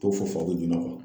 To fɔ fɔ a bi ɲinɔ o kɔ